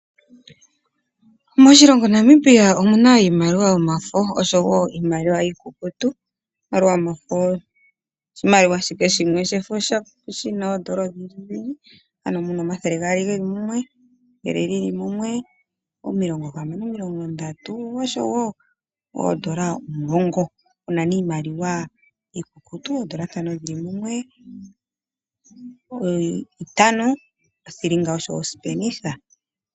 Moshilongo Namibia omu na iimaliwa yomafo noshowo iimaliwa iikukutu. Iimaliwa yomafo oshimaliwa ashike shimwe shefo mu na iimaliwa iikukutu oyindjiyindji, ano mu na oodola omathele gaali ge li mumwe, ethele li li mumwe, omilongohamana, omilongondatu oshowo oodola omulongo. Opu na wo iimaliwa iikukutu, oodola ntano dhi li mumwe, itano, othilinga oshowo osipenitha.